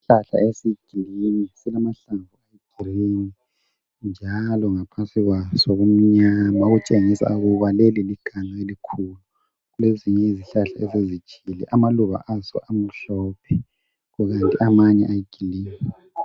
Isihlahla esiyigreen silamahlamvu ayigreen njalo ngaphansi kwaso kumnyama okutshengisa ukuthi kulezinye izihlahla esezitshile amaluba azo amhlophe kuzothi amanye ayigreen.